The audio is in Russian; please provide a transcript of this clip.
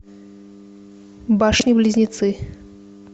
башни близнецы